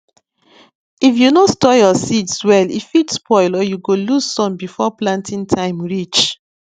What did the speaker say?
if you no store your seeds well e fit spoil or you go lose some before planting time reach